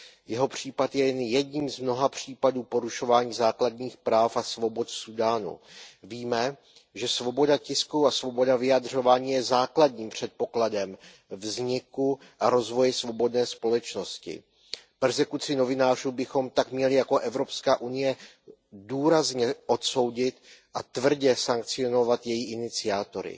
Jeho případ je jen jedním z mnoha případů porušování základních práv a svobod v Súdánu. Víme, že svoboda tisku a svoboda vyjadřování je základním předpokladem vzniku a rozvoje svobodné společnosti. Perzekuci novinářů bychom tak měli jako Evropská unie důrazně odsoudit a tvrdě sankcionovat její iniciátory.